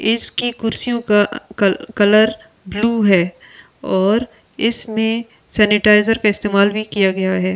इसकी कुर्सी का कर कलर ब्लू है और इसमे सनीताईजार का इस्तेमाल भी किया किया गया है।